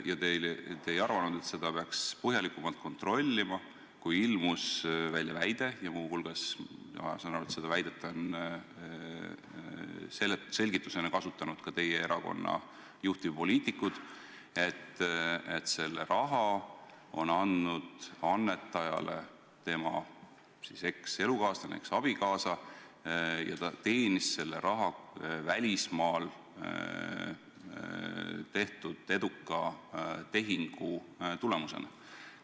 Kas te ei arvanud, et seda peaks põhjalikumalt kontrollima, kui ilmus välja väide – ja ma saan aru, et muu hulgas on seda väidet selgitusena kasutanud ka teie erakonna juhtivpoliitikud –, et raha on andnud annetajale tema ekselukaaslane, eksabikaasa, kes teenis selle välismaal tehtud eduka tehingu tulemusena?